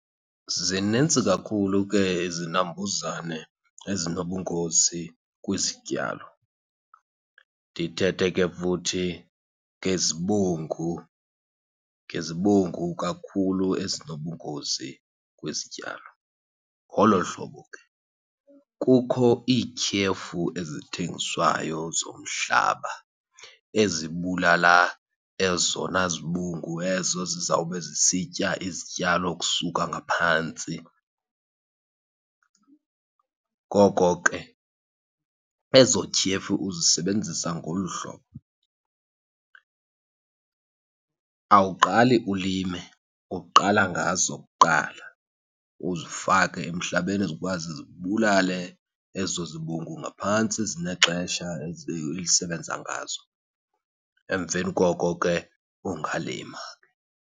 Zinintsi kakhulu ke izinambuzane ezinobungozi kwizityalo. Ndithethe ke futhi ngezibungu, ngezibungu kakhulu ezinobungozi kwizityalo. Ngolo hlobo ke kukho iityhefu ezithengiswayo zomhlaba ezibulala ezona zibungu ezo zizawube zisitya izityalo ukusuka ngaphantsi. Ngoko ke ezo tyhefu uzisebenzisa ngolu hlobo. Awuqali ulime, uqala ngazo kuqala, uzifake emhlabeni zikwazi zibulale ezo zibungu ngaphantsi. Zinexesha elisebenza ngazo, emveni koko ke ungalima.